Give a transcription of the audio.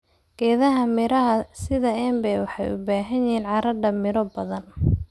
Geedaha miraha sida embe waxay u baahan yihiin carrada miro badan.